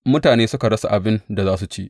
Mutane suka rasa abin da za su ci.